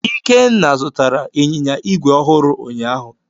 Ikenna zụtara Ịnyịnya igwe ọhụrụ ụnyaahụ.